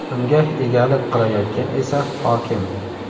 Unga egalik qilayotgan esa hokim.